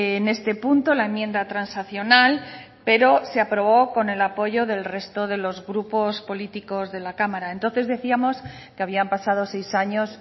en este punto la enmienda transaccional pero se aprobó con el apoyo del resto de los grupos políticos de la cámara entonces decíamos que habían pasado seis años